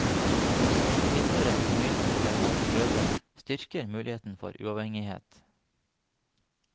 Å tilhøre en familie hvor det er mange brødre styrker muligheten for uavhengighet.